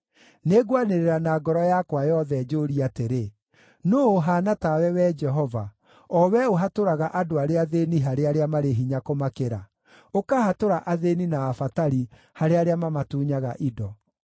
Nĩngwanĩrĩra na ngoro yakwa yothe, njũũrie atĩrĩ, “Nũũ ũhaana tawe, Wee Jehova? O Wee ũhatũraga andũ arĩa athĩĩni harĩ arĩa marĩ hinya kũmakĩra, ũkahatũra athĩĩni na abatari harĩ arĩa mamatunyaga indo.”